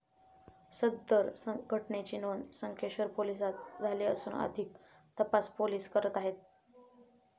सदर घटनेची नोंद संकेश्वर पोलिसात झाली असून अधिक तपास पोलीस करत आहेत.